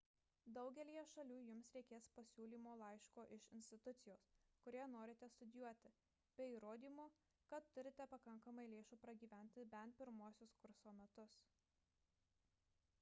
daugelyje šalių jums reikės pasiūlymo laiško iš institucijos kurioje norite studijuoti bei įrodymo kad turite pakankamai lėšų pragyventi bent pirmuosius kurso metus